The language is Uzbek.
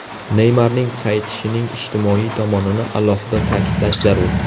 Neymarning qaytishining ijtimoiy tomonini alohida ta’kidlash zarur.